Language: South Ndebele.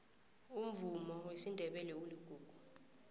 umvumo wesindebele uligugu